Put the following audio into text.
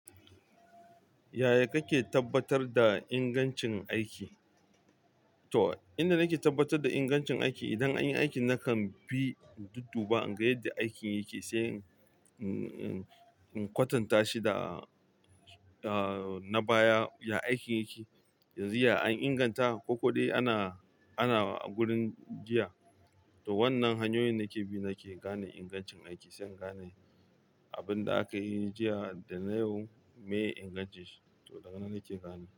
Yaya kake tabbatar da ingancin aiki? To, inda nake tabbatar da ingancin aiki, idan an yi aikin nakan bi in dudduba, in ga yadda aikin yake sai in in kwatanta shi da da na baya ya aikin yake yanzu ya an inganta ko ko dai ana ana gurin jiya? To wannan hanyoyin nake bi nake gane ingancin aiki, sai in gane abun da aka yi jiya da yau, me ingancin shi to daga nan nake gane.